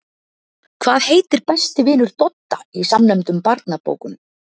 Hvað heitir besti vinur Dodda í samnefndum barnabókunum?